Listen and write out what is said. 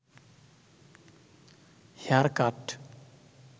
hair cut